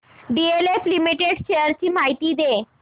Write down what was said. DLF limited shares ची माहिती दे